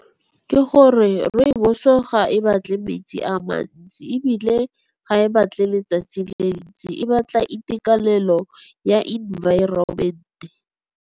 Ke gore rooibos-o ga e batle metsi a mantsi ebile ga e batle letsatsi le lentsi, e batla itekanelo ya environment-e.